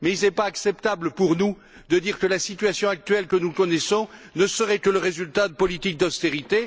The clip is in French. Mais il n'est pas acceptable pour nous de dire que la situation que nous connaissons actuellement ne serait que le résultat de politiques d'austérité.